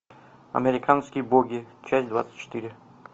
американские боги часть двадцать четыре